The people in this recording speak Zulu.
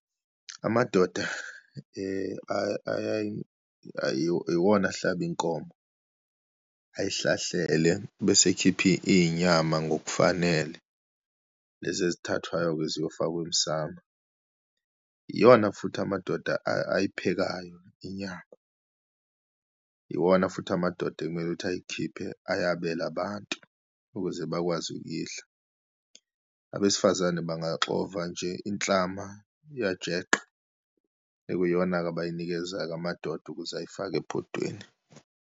Amadoda iwona ahlaba inkomo, ayihlahlele, bese ekhipha iyinyama ngokufanele. Lezi ezithathwayo-ke ziyofakwa emsamo, iyona futhi amadoda ayiphekayo, inyama, iwona futhi amadoda ekumele ukuthi ayikhiphe ayabele abantu, ukuze bakwazi ukuyidla. Abesifazane bangaxova nje inhlama yajeqe, ekuyiyona-ke abayinikeza-ke amadoda ukuze ayifake ebhodweni.